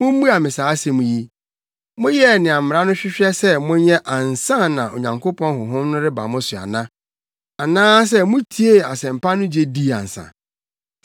Mummua me saa asɛm yi: Moyɛɛ nea Mmara no hwehwɛ sɛ monyɛ ansa na Onyankopɔn Honhom no reba mo so ana? Anaasɛ mutiee Asɛmpa no gye dii ansa?